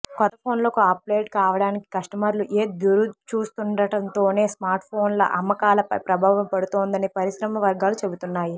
కొత్త ఫోన్లకు అప్గ్రేడ్ కావడానికి కస్టమర్లు ఎదురుచూస్తుండటంతోనే స్మార్ట్ఫోన్ల అమ్మకాలపై ప్రభావం పడుతోందని పరిశ్రమ వర్గాలు చెబుతున్నాయి